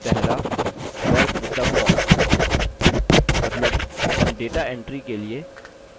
मतलब हम data entry के लिए form का उपयोग करना शुरू करेंगे